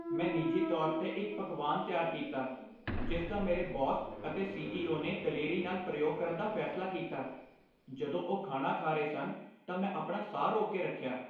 ਮੈਂ ਨਿੱਜੀ ਤੌਰ 'ਤੇ ਇੱਕ ਪਕਵਾਨ ਤਿਆਰ ਕੀਤਾ ਜਿਸ ਦਾ ਮੇਰੇ ਬੌਸ ਅਤੇ ਸੀ.ਈ.ਓ. ਨੇ ਦਲੇਰੀ ਨਾਲ ਪ੍ਰਯੋਗ ਕਰਨ ਦਾ ਫੈਸਲਾ ਕੀਤਾ। ਜਦੋਂ ਉਹ ਖਾਣਾ ਖਾ ਰਹੇ ਸਨ ਤਾਂ ਮੈਂ ਆਪਣਾ ਸਾਹ ਰੋਕ ਕੇ ਰੱਖਿਆ।